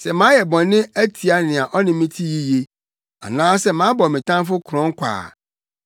sɛ mayɛ bɔne atia nea ɔne me te yiye, anaasɛ mabɔ me tamfo korɔn kwa a,